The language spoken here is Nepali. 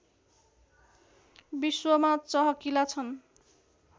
विश्वमा चहकिला छन्